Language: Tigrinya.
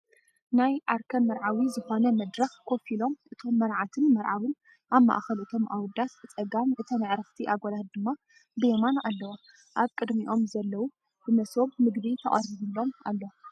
ናይ ዓርከ መርዓዊ ዝኮነ መድረክ ኮፍ ኢሎም እቶም መርዓትን መርዓዊን ኣብ ማእከል እቶም ኣወዳት ብፀጋም እተን ኣዕርኽቲ ኣጓላት ድማ ብየማን ኣለዋ። ኣብ ቅድሚኦም ዘሎ ብመሰብ መግቢ ተቀሪብሎም ኣሎ።